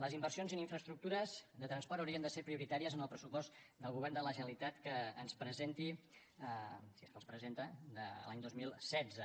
les inversions en infraestructures de transport haurien de ser prioritàries en el pressupost que el govern de la generalitat ens presenti si és que el presenta de l’any dos mil setze